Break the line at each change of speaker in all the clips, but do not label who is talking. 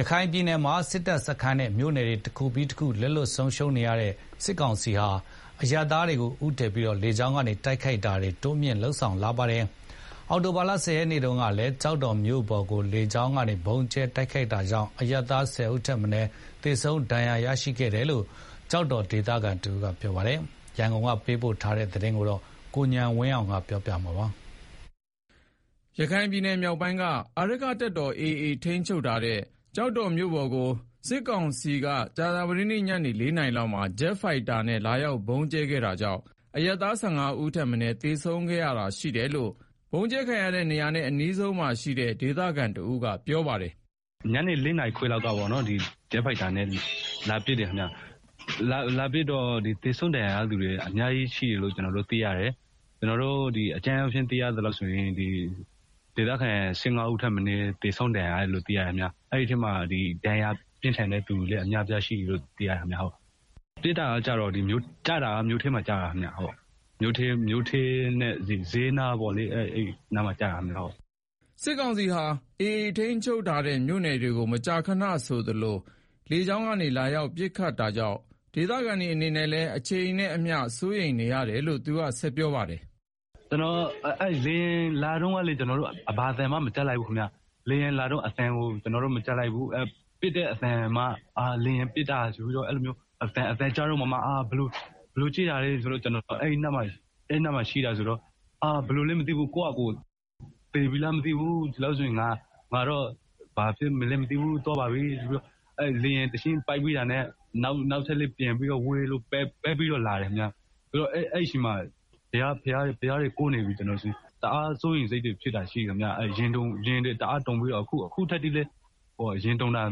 ရခိုင်ပြည်နယ်မှာ စစ်ရေးအရ တပ်စခန်းတွေနဲ့ မြို့နယ်တွေတခုပြီးတခု လက်လွတ်ဆုံးရှုံးနေရတဲ့ စစ်ကောင်စီဟာ အရပ်သားတွေကိုဦးတည်ပြီးတော့ လေကြောင်းပစ်ခတ်တာတွေကို တိုးမြှင့် လာပါတယ်။ အောက်တိုဘာ ရက်၊ မနေ့တုန်းကလည်း ကျောက်တော်မြို့ပေါ်ကို လေကြောင်း ဗုံးကြဲခဲ့တာကြောင့် အရပ်သား ၁၅ ဦးထက်မနည်း သေဆုံးဒဏ်ရာရရှိခဲ့တယ်လို့ ကျောက်တော် ဒေသခံတဦး ကပြောပါတယ်။ မြန်မာပြည်က ပေးပို့လာတဲ့ဒီသတင်းကို ကိုဉာဏ်ဝင်းအောင်က တင်ပြပေးထားပါတယ်။
ရခိုင်ပြည်နယ်မြောက်ပိုင်းက အာရက္ခတပ်တော် AA ထိန်းချုပ်ထားတဲ့ ကျောက်တော်မြို့ပေါ်ကို စစ်ကောင်စီက မနေ့ညနေ ၄ နာရီလောက်မှာ ဂျက်ဖိုက်တာနဲ့ လာရောက်ဗုံးကြဲခဲ့တာကြောင့် အရပ်သား ၁၅ ဦးထက်မနည်း သေဆုံးဒဏ်ရာရခဲ့တယ်လို့ ဗုံးကြဲခံရတဲ့နေရာနဲ့ အနီးဆုံးမှာရှိနေတဲ့ ဒေသခံတဦးက ပြောပါတယ်။ “ညနေ လေးနာရီခွဲလောက်က ဂျက်ဖိုက်တာနဲ့ လာပစ်တယ်။ လာပစ်တော့
သေဆုံး ဒဏ်ရာရတာ အများကြီးရှိတယ်၊ ကျနော်အကြမ်းအားဖြင့် သိရသလောက်ဆိုရင် ဒေသခံ ၁၅ ဦးထက်မနည်း သေဆုံးဒဏ်ရာရတယ်လို့ သိရတယ်ခင်ဗျာ။အဲဒီထဲမှာ ဒဏ်ရာပြင်းထန်တဲ့သူလည်း အများအပြား ရှိတယ်လို့ သိရတယ်။ ကျတာက မြို့ထဲမှာကျတာ စျေးနားကို
ကျတာခင်ဗျ၊ ဟုတ်။” စစ်ကောင်စီဟာ AA ထိန်းချုပ်မြို့နယ်တွေကို မကြာခဏဆိုသလို လေကြောင်းကနေ လာရောက် ပစ်ခတ်နေတာကြောင့် ဒေသခံတွေအနေနဲ့လည်း အချိန်နဲ့အမျှ စိုးရိမ်နေရတယ်လို့ သူက ဆက်ပြောပါတယ်။ “ လေယာ
ဉ်လာတာကိုလည်း ကျနော်တို့ ဘာသံမှ မကြားလိုက်ဘူး။ ပစ်လို့ အသံကြားမှ ဘယ်လိုဖြစ်တာလဲဆိုပြီးတော့ အဲဒီနားမှာရှိနေတာဆိုတော့ ဘယ်လိုဖြစ်သွားမှန်းမသိဘူး။ ကိုယ့်ဖာသာကိုယ် သေပြီလားမသိဘူး၊ ဒီလောက်ဆို ငါတော့ သွားပါပြီဆိုပြီးပေါ့။ လေယာဉ်က တချက်ပစ်ပြီးတော့ နောက်ထပ်လည်း ပျံဝဲပြီးတော့ ပတ်လာသေးတယ်။ ကျနော်တော့ ဘုရားတွေ တနေတာ။ တအား ရင်တွေတုန်ပြီးတော့ အခုထိလည်း ရင်တုန်တာ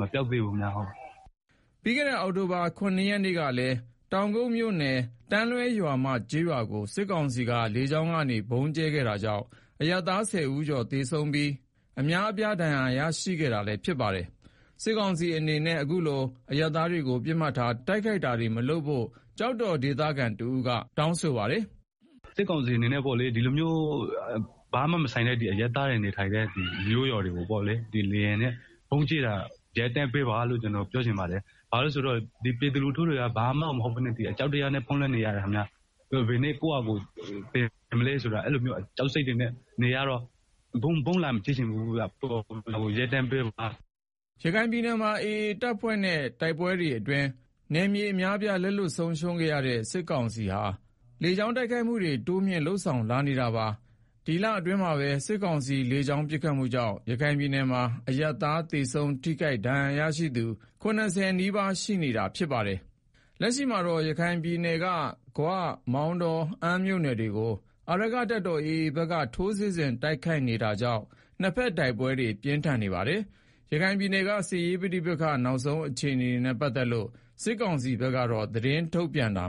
မပျောက်သေးဘူးခင်ဗျာ။
” ပြီးခဲ့တဲ့ အောက်တိုဘာလ ၇ ရက်နေ့ကလည်း တောင်ကုတ်မြို့နယ် တန်းလွဲရွာမကျေးရွာကို စစ်ကောင်စီလေကြောင်းက ဗုံးကြဲခဲ့တာကြောင့် အရပ်သား ဆယ်ယောက်ကျော်သေဆုံးပြီး အများ အပြားဒဏ်ရာရရှိခဲ့တာလည်းဖြစ်ပါတယ်။ စစ်ကောင်စီအနေနဲ့ အခုလိုအရပ်သား တွေကို ပစ်မှတ်ထား တိုက်ခိုက်တာတွေ မလုပ်ဖို့လည်း ကျောက်တော်ဒေသခံတဦးက ပြောပါတယ်။ “စစ်ကောင်စီအနေနဲ့ ဒီလိုမျိုး
ဘာမှမဆိုင်တဲ့ အရပ်သားတွေ နေထိုင်တဲ့မြို့ရွာတွေကို လေယာဉ်နဲ့ ဗုံးလာကြဲတာကို ရပ်တန့်ပေးပါလို့ ပြောချင်ပါတယ်။ ဘာလို့လဲဆိုတော့ ပြည်သူလူထုက ဘာမှ မဟုတ်ဘဲနဲ့ အကြောက်တရားနဲ့ ဖုံးလွှမ်းနေရတယ်။ ဘယ်နေ့ ကိုယ်ပါ သေမလဲဆိုပြီးတော့ အဲလိုမျိုး ကြောက်စိတ်တွေနဲ့
နေရတော့ ဗုံးလာကြဲတာကို ရပ်တန့်ပေးပါ။” ရခိုင်ပြည်နယ်မှာ AA အဖွဲ့နဲ့ တိုက်ပွဲတွေအတွင်း နယ်မြေအများအပြား လက်လွတ်ဆုံးရှုံးထားတဲ့ စစ်ကောင်စီက လေကြောင်းတိုက်ခိုက်မှုတွေ တိုးမြှင့်လာနေတာပါ။ ဒီလအတွင်းမှာပဲ စစ်ကောင်စီရဲ့ လေကြောင်းပစ်ခတ်မှုကြောင့် ရခိုင်ပြည်နယ်မှာ အရပ်သားသေဆုံးထိခိုက်ဒဏ်ရာရသူ ၇ဝ နီးပါး ရှိနေတာလည်း ဖြစ်ပါတယ်။ လက်ရှိမှာတော့ ရခိုင်ပြည်နယ်က ဂွ၊ မောင်တောနဲ့ အမ်းမြို့နယ်တွေကို အာရက္ခတပ်တော် AA ဘက်က ထိုးစစ်ဆင်တိုက်ခိုက်နေတာကြောင့် နှစ်ဘက်တိုက်ပွဲတွေ ပြင်းထန်နေတာပါ။ ရခိုင်ပြည်နယ်က စစ်ရေး ပဋိပက္ခတွေ နောက်ဆုံးအခြေအနေနဲ့ ပတ်သက်လို့ စစ်ကောင်စီက သတင်းထုတ်ပြန်တာ